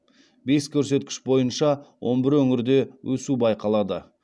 бес көрсеткіш бойынша он бір өңірде өсу байқалады